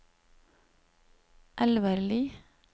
Elvarli